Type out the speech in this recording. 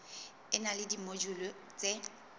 e na le dimojule tse